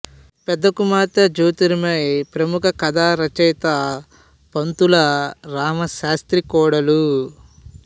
పెద్ద కుమార్తె జ్యోతిర్మయి ప్రముఖ కథా రచయిత పంతుల రామ శాస్త్రి కోడలు